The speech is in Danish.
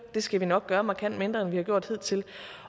det skal vi nok gøre markant mindre end vi har gjort hidtil